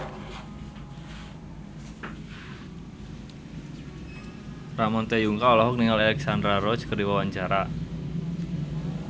Ramon T. Yungka olohok ningali Alexandra Roach keur diwawancara